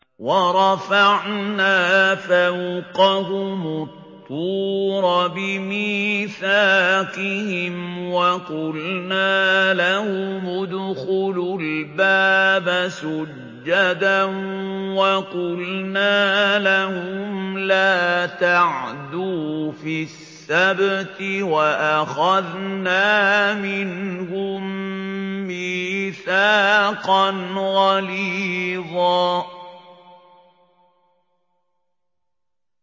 وَرَفَعْنَا فَوْقَهُمُ الطُّورَ بِمِيثَاقِهِمْ وَقُلْنَا لَهُمُ ادْخُلُوا الْبَابَ سُجَّدًا وَقُلْنَا لَهُمْ لَا تَعْدُوا فِي السَّبْتِ وَأَخَذْنَا مِنْهُم مِّيثَاقًا غَلِيظًا